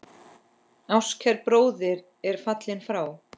Ástkær bróðir er fallinn frá.